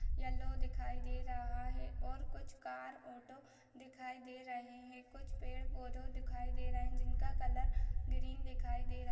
yellow दिखाई दे रहा है और कुछ कार ऑटो दिखाई दे रहे है कुछ पेड़ पौधों दिखाई दे रहे है जिनका कलर ग्रीन दिखाई दे र--